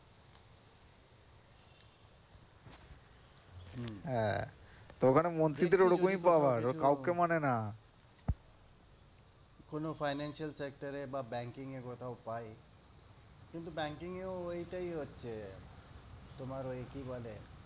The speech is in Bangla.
হ্যা ওখানে মন্ত্রীদের এরকমই পাওয়ার ও কাউকে মানে না কোন ফাইন্যানসিয়াল সেক্টর বা ব্যাংকিং এ কোথাও পাই কিন্তু ব্যাংকিং ওইটাই হচ্ছে তোমারে ওই কি বলে,